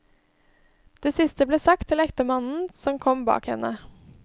Det siste ble sagt til ektemannen som kom bak henne.